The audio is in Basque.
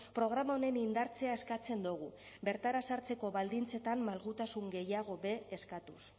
programa honen indartzea eskatzen dugu bertara sartzeko baldintzetan malgutasun gehiago be eskatuz